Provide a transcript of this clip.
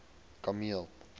kameel